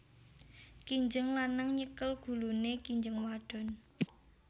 Kinjeng lanang nyekel guluné kinjeng wadon